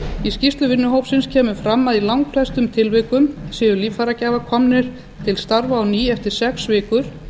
í skýrslu vinnuhópsins kemur fram að í langflestum tilvikum séu líffæragjafar komnir til starfa á ný eftir sex vikur